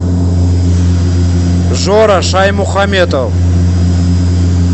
жора шаймухаметов